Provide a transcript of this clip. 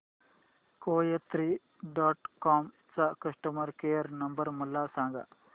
कोयात्री dot com चा customer care number मला सांगा